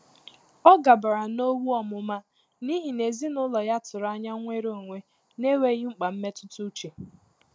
Ọ́ gàbàrà n’ówú ọ́mụ́má n’íhí nà èzínụ́lọ́ yá tụ́rụ̀ ányá nnwéré ónwé n’énwéghị́ mkpà mmétụ́tà úchè.